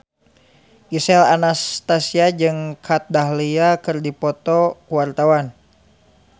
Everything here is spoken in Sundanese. Gisel Anastasia jeung Kat Dahlia keur dipoto ku wartawan